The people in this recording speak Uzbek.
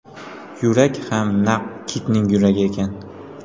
Yurak ham naq kitning yuragi ekan!